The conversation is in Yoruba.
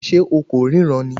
Ṣé o kò ríran ni